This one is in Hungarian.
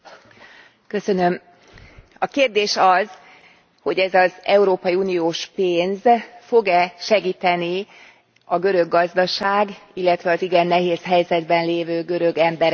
A kérdés az, hogy ez az európai uniós pénz fog e segíteni a görög gazdaság, illetve az igen nehéz helyzetben lévő görög emberek talpra állásában.